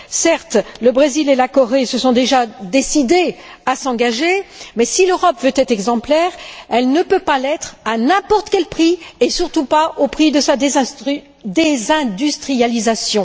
Certes, le Brésil et la Corée se sont déjà décidés à s'engager, mais si l'Europe veut être exemplaire, elle ne peut pas l'être à n'importe quel prix, et surtout pas au prix de sa désindustrialisation.